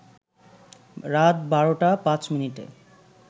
রাত ১২টা ৫ মিনিটে